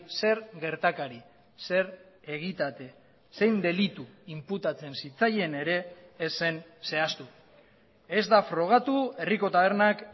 zer gertakari zer egitate zein delitu inputatzen zitzaien ere ez zen zehaztu ez da frogatu herriko tabernak